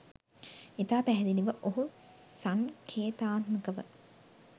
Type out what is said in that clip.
ඉතා පැහැදිලිව ඔහු සංකේතාත්මකව